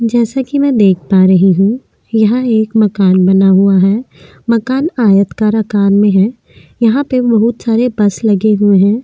जैसा कि मैं देख पा रही हूँ यहाँ पर एक मकान बना हुआ है मकान आयतकार आकार में है यहाँ पर बहुत सारे बस लगे हुए हैं।